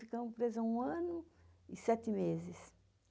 Ficamos presas um ano e sete meses.